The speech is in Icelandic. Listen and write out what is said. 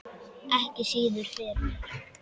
Ekki síður fyrir